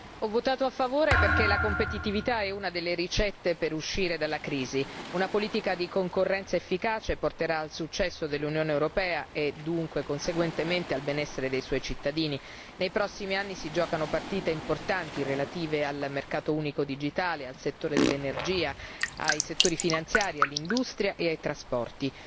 Signora Presidente, onorevoli colleghi, ho votato a favore perché la competitività è una delle ricette per uscire dalla crisi. Una politica di concorrenza efficace porterà al successo dell'Unione europea e, conseguentemente, al benessere dei suoi cittadini. Nei prossimi anni si giocano partite importanti relative al mercato unico digitale, al settore dell'energia, ai settori finanziari, dell'industria e dei trasporti.